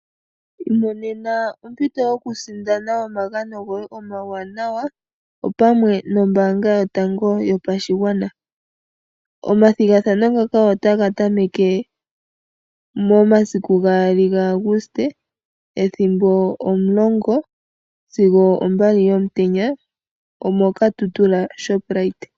Imonena ompito yoku sindana omagano goye omawanawa, opamwe nombaanga yotango yopashigwana. Omathigathano ngaka otaga tameke mo masiku gaali ga Aguste ethimbo omulongo sigo ombali yomutenya, omo Katutura Shoprite.